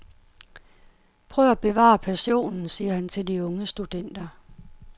Prøv at bevare passionen, siger han til de unge studenter.